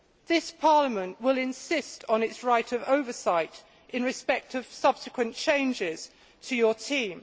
This Parliament will insist on its right of oversight in respect of subsequent changes to your team